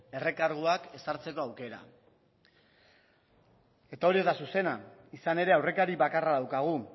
errekarguak ezartzeko aukera eta hori ez da zuzena izan ere aurrekari bakarra daukagu